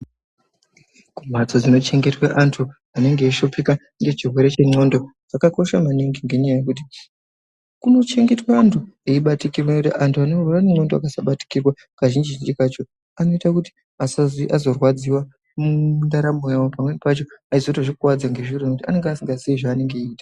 Kumbatso dzinochengetwa vantu vanenge vachishupika nechirwere chenxondo zvakakosha maningi ngendaa yekuti kunochengetwa antu eibatikirwa antu akasabatikirwa kazhinji kacho vasazi vazorwadziwa mundaramo yawo pamweni pacho anozvikuwadza ngazviro ngekuti anenge asingatozii zvanenge aita.